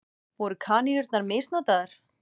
Voru kanínurnar misnotaðar?